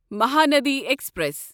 Mahanadi express